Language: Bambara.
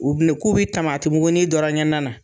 U bilen k'u bɛ tamatimuguni dɔrɔn kɛ na na